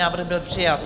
Návrh byl přijat.